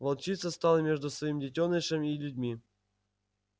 волчица стала между своим детёнышем и людьми